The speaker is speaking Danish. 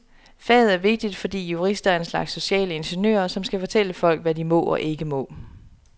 Faget er vigtigt, fordi jurister er en slags sociale ingeniører, som skal fortælle folk, hvad de må og ikke må.